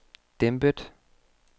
dæmpet